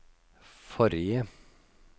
forrige